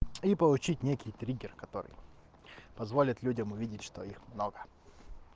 и получить некий триггер который позволит людям увидеть что их много